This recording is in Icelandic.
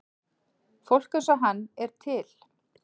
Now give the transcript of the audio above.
Fólk eins og hann er til.